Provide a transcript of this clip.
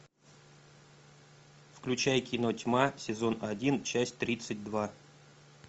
включай кино тьма сезон один часть тридцать два